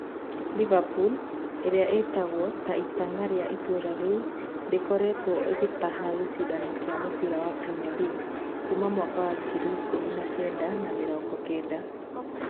Liverpool, ĩrĩa ĩĩtagwo ta itang'a rĩa itũũra rĩu, ndĩrĩ ĩkoretwo ĩgĩtaha gĩcindano kĩa mũbira wa Premier League kuuma 1990.